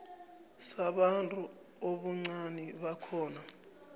sabantu ubuncani bakhona